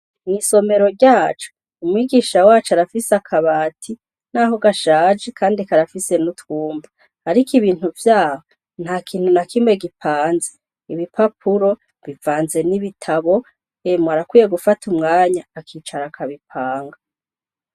Mw'isomero ryacu umwigisha wacu arafise akabati naho gashaje karafise n'utwumba ,ariko ibintu vyaho ntakintûnakimwe gipanze ,ibipapuro bivanze n'ibitabo, emwe arakwiye gufata umwanya akicara akabipanga.